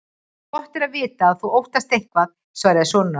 Gott er að vita að þú óttast eitthvað, svaraði sonur hans.